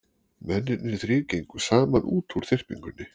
Mennirnir þrír gengu saman út úr þyrpingunni.